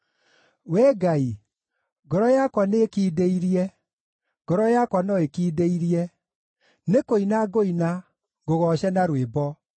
Wee Ngai, ngoro yakwa nĩĩkindĩirie, ngoro yakwa no ĩkindĩirie; nĩkũina ngũina, ngũgooce na rwĩmbo.